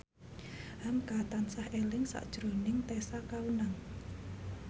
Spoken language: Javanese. hamka tansah eling sakjroning Tessa Kaunang